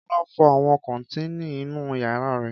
Kọ́lá fọ àwọn kọ́tíìnì inú ìyàrá rẹ̀.